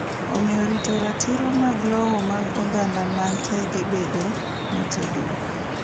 Omiyo rito ratiro mag lowo mag oganda man tege bedo motegno.